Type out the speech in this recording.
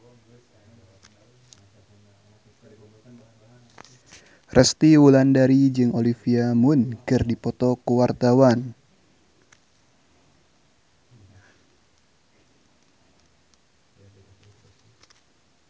Resty Wulandari jeung Olivia Munn keur dipoto ku wartawan